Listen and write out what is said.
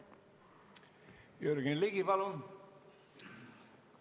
Jürgen Ligi, palun!